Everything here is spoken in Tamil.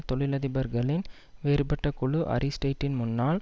தொழிலதிபர்களின் வேறுபட்ட குழு அரிஸ்டைட்டின் முன்னாள்